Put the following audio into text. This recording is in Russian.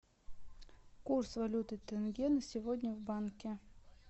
курс валюты тенге на сегодня в банке